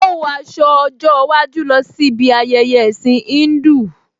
Ó wọ aṣọ ọjọ́ iwájú lọ sí bi ayẹyẹ ẹ̀ẹ̀sìn Híńdù